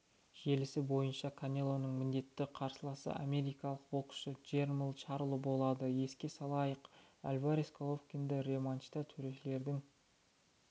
желісі бойынша канелоның міндетті қарсыласы америкалық боксшы джермалл чарло болады еске салайық альварес головкинді рематчта төрешілердің